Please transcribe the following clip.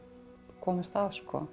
komist að